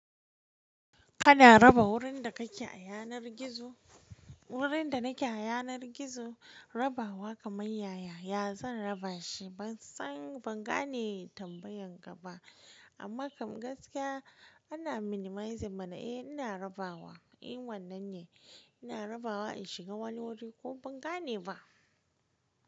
Kana raba wurin da kake a yanar gizo? Wurin da nake a yanar gizo rabawa kamar yaya, ya zan raba shi ban san ban gane tambayan ka ba amma gaskiya ana minimize mana eh ina rabawa in wannan ne ina rabawa in shiga wani wuri ko ban gane ba.